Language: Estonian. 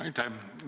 Aitäh!